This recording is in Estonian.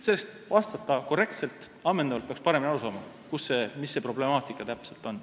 Selleks, et vastata korrektselt ja ammendavalt, peaks paremini aru saama, milles see problemaatika täpselt on.